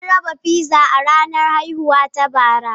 Mun raba pizza a ranar haihuwata bara.